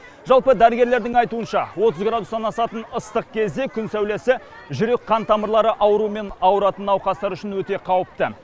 жалпы дәрігерлердің айтуынша отыз градустан асатын ыстық кезде күн сәулесі жүрек қан тамырлары ауруымен ауыратын науқастар үшін өте қауіпті